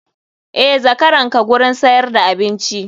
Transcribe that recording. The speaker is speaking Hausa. Eh zakaranka gurin siyar da abinci.